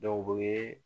u ye